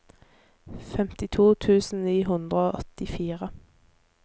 femtito tusen ni hundre og åttifire